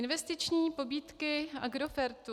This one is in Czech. Investiční pobídky Agrofertu.